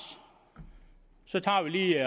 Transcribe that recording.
så tager vi lige